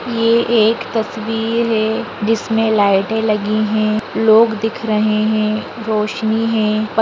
ये एक तस्वीर है जिसमे लाइटे लगी है लोग दिख रहे है रोशनी है।